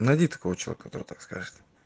найди такого человека так скажешь